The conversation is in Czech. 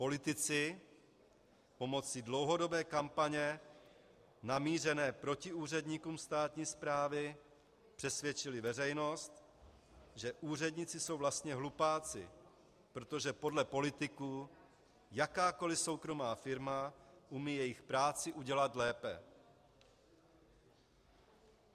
Politici pomocí dlouhodobé kampaně namířené proti úředníkům státní správy přesvědčili veřejnost, že úředníci jsou vlastně hlupáci, protože podle politiků jakákoliv soukromá firma umí jejich práci udělat lépe.